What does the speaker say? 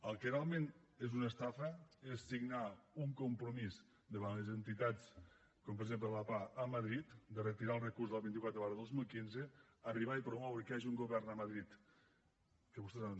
el que realment és una estafa és signar un compromís davant les entitats com per exemple la pah a madrid de retirar el recurs de la vint quatre dos mil quinze arribar i promoure que hi hagi un govern a madrid que vostès han